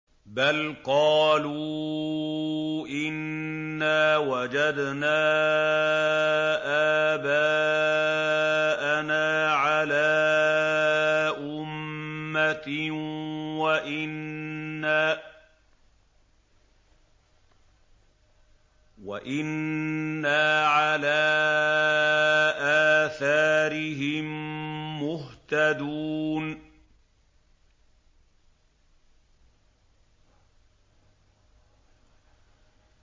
بَلْ قَالُوا إِنَّا وَجَدْنَا آبَاءَنَا عَلَىٰ أُمَّةٍ وَإِنَّا عَلَىٰ آثَارِهِم مُّهْتَدُونَ